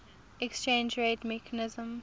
exchange rate mechanism